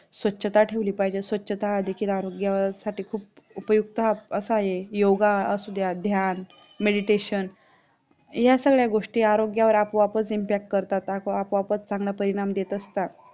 स्वच्छता ठेवली पाहिजे स्वछता हा देखील आरोग्यासाठी असं खुप उपयुक्त आहे असा योगा असुद्या ध्यान Meditation ह्या सगळ्या गोष्टीं आरोग्यावर आपोआपच impact करतात आपोआपच चांगला परिणाम देत असतात